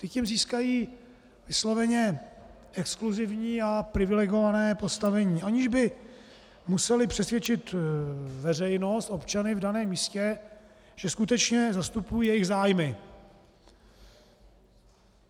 Ty tím získají vysloveně exkluzivní a privilegované postavení, aniž by musely přesvědčit veřejnost, občany v daném místě, že skutečně zastupují jejich zájmy.